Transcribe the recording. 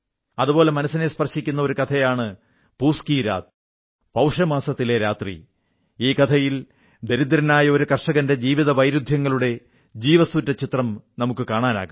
അതുപോലെ മനസ്സിനെ സ്പർശിക്കുന്ന ഒരു കഥയാണ് പൂസ് കീ രാത് പൌഷമാസത്തിലെ രാത്രി ഈ കഥയിൽ ദരിദ്രനായ ഒരു കർഷകന്റെ ജീവിതവൈരുദ്ധ്യങ്ങളുടെ ജീവസ്സുറ്റ ചിത്രം നമുക്ക് കാണാനാകും